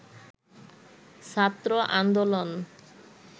ছাত্র আন্দোলন